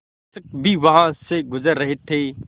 शिक्षक भी वहाँ से गुज़र रहे थे